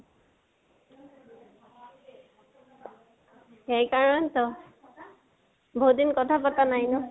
সেই কাৰণেটো, বাহুত দিন কথা পতা নাই ন।